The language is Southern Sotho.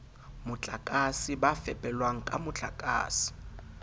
motlakase ba fepelwang ka motlakase